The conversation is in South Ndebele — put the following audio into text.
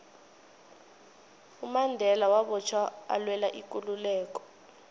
umandela wabotjhwa alwela ikululeko